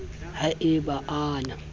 ha e ba a na